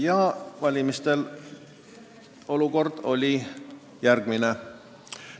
Ja valimistel oli olukord järgmine.